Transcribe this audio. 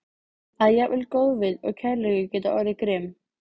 Að jafnvel góðvild og kærleikur geta orðið grimm.